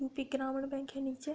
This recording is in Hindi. यूपी ग्रामीण बैंक है नीचे।